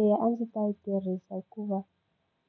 Eya a ndzi ta yi tirhisa hikuva